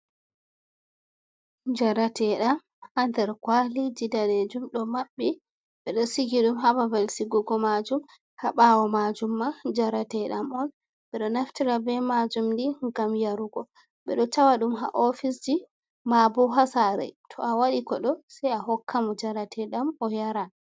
Jarateeɗam haa nder kuwaliji daneeejum, ɗo maɓɓi ɓe ɗo sigi ɗum, haa babal sigugo maajum. Haa ɓaawo maajum may, jarateeɗam on. Ɓe ɗo naftira be maajum, ndiyam yarugo, ɓe ɗo tawa ɗum haa ofisji, maabo haa saare, to a waɗi koɗo sey a hokkamo, jarateeɗam o yaran.